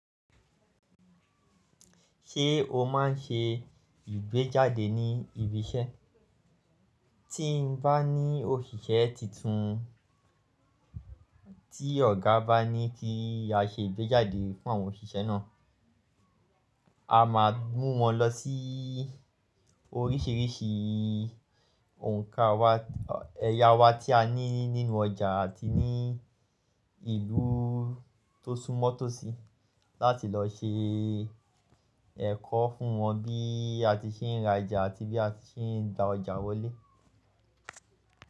Ṣé o máa ń ṣe ìgbéjáde ní ibi iṣẹ́? Tí n bá ní òṣìṣẹ́ titun, tí ọ̀gá bá ní kí a ṣe ìgbéjáde fún àwọn òṣìṣẹ́ náà, a máa mú wọn lọ sí oríṣìíríṣìí òǹkà wa, ẹ̀ya wa tí a ní nínú ọjà àti ní ìlú tó súnmọ́ tòsí láti lọ ṣe ẹ̀kọ́ fún wọn bí a ti ṣe ń ra ẹja àti bí a ti ṣe ń gba ọjà wọlé.